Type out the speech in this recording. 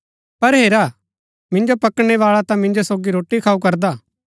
पर हेरा मिन्जो पकड़ाणै बाला ता मिन्जो सोगी रोटी खाऊ करदा